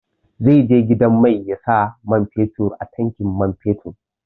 Zai je gidan mai ya sa man fetur a tankin man fetur.